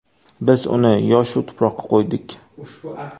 Biz uni – yoshu – Tuproqqa qo‘ydik.